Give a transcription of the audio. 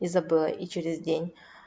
и забыла и через день